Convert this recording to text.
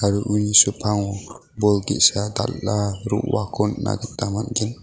aro uni sepango bol ge·sa dal·a ro·ako nikna gita man·gen.